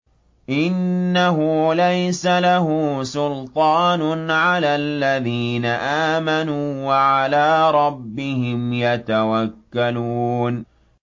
إِنَّهُ لَيْسَ لَهُ سُلْطَانٌ عَلَى الَّذِينَ آمَنُوا وَعَلَىٰ رَبِّهِمْ يَتَوَكَّلُونَ